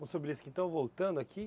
então voltando aqui.